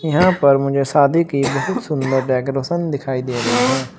यहां पर मुझे शादी की बहुत सुंदर डेकोरेशन दिखाई दे रही है।